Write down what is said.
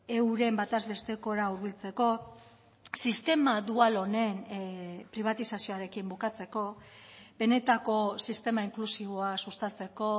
euren bataz bestekora hurbiltzeko sistema dual honen pribatizazioarekin bukatzeko benetako sistema inklusiboa sustatzeko